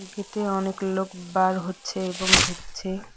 গেটে অনেক লোক বার হচ্ছে এবং ঢুকছে।